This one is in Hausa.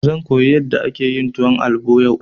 Zan koyi yadda ake yin tuwon albo yau.